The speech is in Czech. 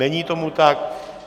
Není tomu tak.